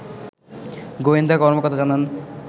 গোয়েন্দা কর্মকর্তা জানান